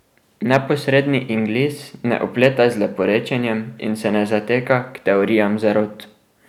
Neposredni Inglis ne opleta z leporečjem in se ne zateka k teorijam zarot.